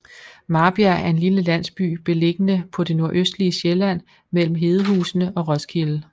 Marbjerg er en lille landsby beliggende på det nordøstlige Sjælland mellem Hedehusene og Roskilde